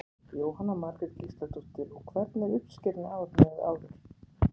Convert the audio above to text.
Jóhanna Margrét Gísladóttir: Og hvernig er uppskeran í ár miðað við áður?